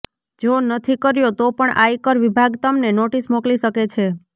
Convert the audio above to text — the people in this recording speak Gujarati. જો નથી કર્યો તો પણ આયકર વિભાગ તમને નોટિસ મોકલી શકે છે